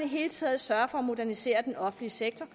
hele taget sørger for at modernisere den offentlige sektor